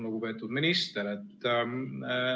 Lugupeetud minister!